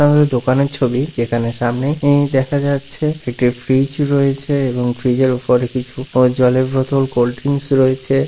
আমাদের দোকানের ছবি। যেখানে সামনেই ই দেখা যাচ্ছে একটি ফ্রিজ রয়েছে এবং ফ্রিজ এর উপরে কিছু জলের বোতল কোল্ড ড্রিংকস রয়েছে।